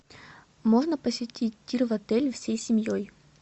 можно посетить тир в отеле всей семьей